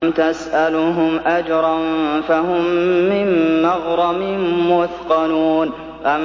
أَمْ تَسْأَلُهُمْ أَجْرًا فَهُم مِّن مَّغْرَمٍ مُّثْقَلُونَ